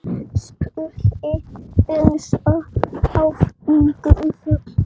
spurði Elsa áhyggjufull.